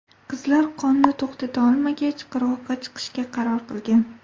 Qizlar qonni to‘xtata olmagach, qirg‘oqqa chiqishga qaror qilgan.